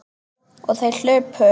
Og þær hlupu.